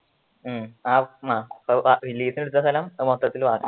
ഉം ആ ലീസിനു എടുത്ത സ്ഥലം മൊത്തത്തില് വാങ്ങാൻ